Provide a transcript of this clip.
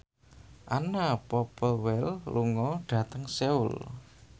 Anna Popplewell lunga dhateng Seoul